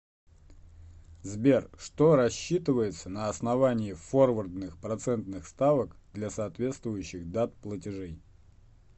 сбер что рассчитывается на основании форвардных процентных ставок для соответствующих дат платежей